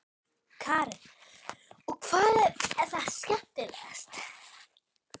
Karen: Og hvað er það skemmtilegasta?